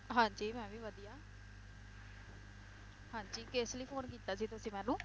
ਹਾਂਜੀ ਮੈ ਵੀ ਵਧੀਆ ਹਾਂਜੀ ਕਿਸ ਲਈ phone ਕੀਤਾ ਸੀ ਤੁਸੀਂ ਮੈਨੂੰ?